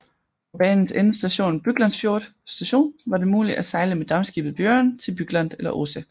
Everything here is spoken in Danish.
Fra banens endestation Byglandsfjord Station var det muligt at sejle med dampskibet Bjoren til Bygland eller Ose